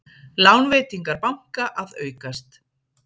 Lánveitingar banka að aukast